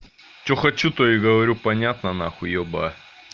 что хочу то и говорю понятно нахуй ёба